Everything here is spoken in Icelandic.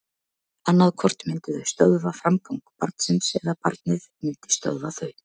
Annað hvort myndu þau stöðva framgang barnsins eða barnið myndi stöðva þau.